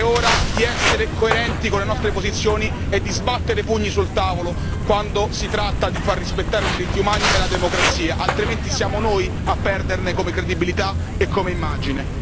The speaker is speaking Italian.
È ora di essere coerenti con le nostre posizioni e di sbattere i pugni sul tavolo quando si tratta di far rispettare i diritti umani e la democrazia, altrimenti siamo noi a perderci come credibilità e come immagine.